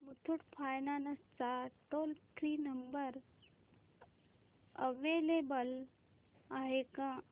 Muthoot finance चा toll free number available आहे का